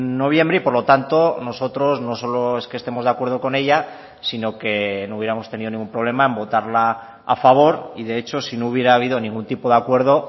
noviembre y por lo tanto nosotros no solo es que estemos de acuerdo con ella sino que no hubiéramos tenido ningún problema en votarla a favor y de hecho si no hubiera habido ningún tipo de acuerdo